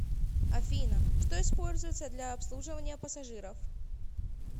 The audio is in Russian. афина что используется для обслуживания пассажиров